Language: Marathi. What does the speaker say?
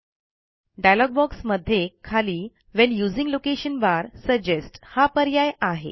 डायलॉग बॉक्समध्ये खाली when using location bar suggest हा पर्याय आहे